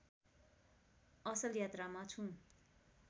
असल यात्रामा छु